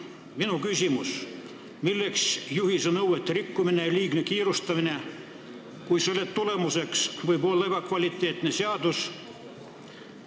Minu küsimus: miks praegu juhiste nõuete rikkumine ja liigne kiirustamine, kui selle tulemuseks võib olla ebakvaliteetne seadus?